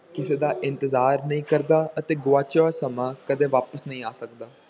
ਕਿਸੇ ਦਾ ਇੰਤਜ਼ਾਰ ਨਹੀਂ ਕਰਦਾ ਅਤੇ ਗੁਆਚਿਆ ਹੋਇਆ ਸਮਾਂ ਕਦੇ ਵਾਪਿਸ ਨਹੀਂ ਆ ਸਕਦਾ।